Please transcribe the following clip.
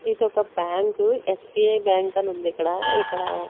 ఇదొక bank SBI bank అని ఉంది ఇక్కడఇక్కడ.